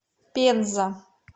пенза